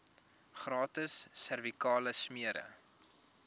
gratis servikale smere